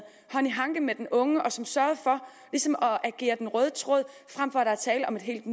hånd i hanke med den unge og som sørgede for ligesom at agere den røde tråd frem for at tale om et helt